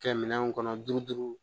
Kɛ minɛn kɔnɔ duuru duuru